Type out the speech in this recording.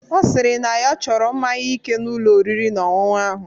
Ọ sịrị na ya chọrọ mmaṅya ike n'Ụlọ oriri na ọṅụṅụ ahụ.